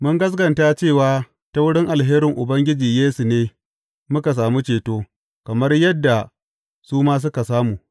Mun gaskata cewa ta wurin alherin Ubangiji Yesu ne muka sami ceto, kamar yadda su ma suka samu.